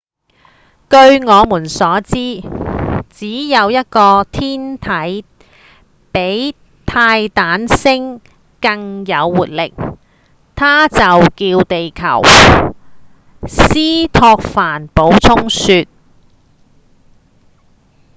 據我們所知只有一個天體比泰坦星更有活力它就叫地球」斯托凡補充說